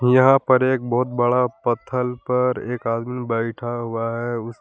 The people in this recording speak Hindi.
यहां पर एक बहुत बड़ा पत्थल पर एक आदमी बैठा हुआ है उसके--